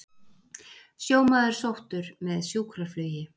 Sjómaður sóttur með sjúkraflugi